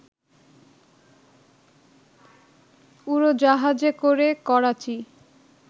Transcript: উড়োজাহাজে করে, করাচি